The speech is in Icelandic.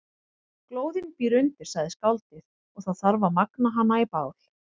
Glóðin býr undir, sagði skáldið, og það þarf að magna hana í bál.